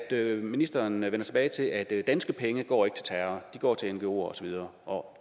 er at ministeren vender tilbage til at danske penge ikke går til terror de går til ngoer og så videre og